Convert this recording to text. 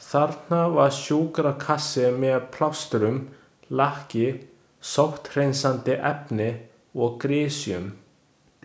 Þarna var sjúkrakassi með plástrum, lakki, sótthreinsandi efni og grysjum.